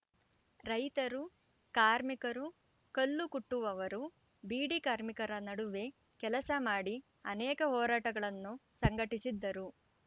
ರೈತರು ಕಾರ್ಮಿಕರು ಕಲ್ಲುಕುಟ್ಟುವವರು ಬೀಡಿ ಕಾರ್ಮಿಕರ ನಡುವೆ ಕೆಲಸ ಮಾಡಿ ಅನೇಕ ಹೋರಾಟಗಳನ್ನು ಸಂಘಟಿಸಿದ್ದರು